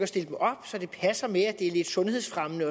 stille dem op så det passer med at det er lidt sundhedsfremmende